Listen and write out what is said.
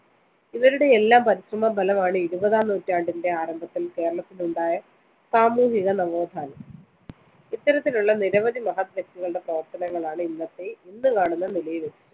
ഇവരുടെയെല്ലാം പരിശ്രമഫലമാണ് ഇരുപതാം നൂറ്റാണ്ടിന്റെ ആരംഭത്തില്‍ കേരളത്തിലുണ്ടായ സാമൂഹിക നവോത്ഥാനം. ഇത്തരത്തിലുള്ള നിരവധി മഹത് വ്യക്തികളുടെ പ്രവര്‍ത്തനങ്ങളാണ് ഇന്നത്തെ ഇന്നു കാണുന്ന നിലയിലെത്തിച്ചത്.